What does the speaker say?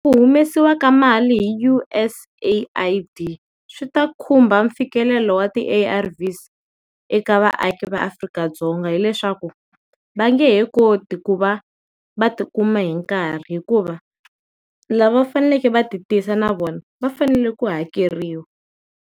Ku humesiwa ka mali hi U_S AID swi ta khumba mfikelelo wa ti A_R_V's eka vaaki va Afrika-Dzonga hileswaku va nge he koti ku va va ti kuma hi nkarhi, hikuva lava faneleke va ti tisa na vona va fanele ku hakeriwa.